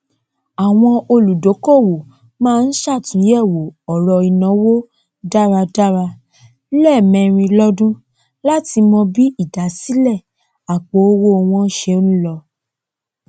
àwọn olùdókòwò má n sàtúnyẹwò ọrọ ìnáwó dáradára lẹẹmẹrin lọdún látí mọ bí ìdásílẹ àpò owó wọn ṣe ń lọ